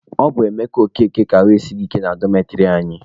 Ọ bụ Emeka Okeke ka ahụ esighị ike na dọmetịrị anyị.